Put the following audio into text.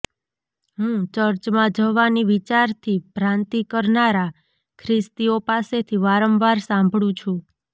હું ચર્ચમાં જવાની વિચારથી ભ્રાંતિ કરનારા ખ્રિસ્તીઓ પાસેથી વારંવાર સાંભળું છું